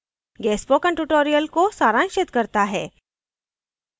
यह spoken tutorial को सारांशित करता है